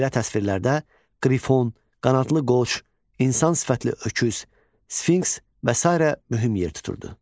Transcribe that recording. Belə təsvirlərdə qrifon, qanadlı qoç, insan sifətli öküz, sfinks və sairə mühüm yer tuturdu.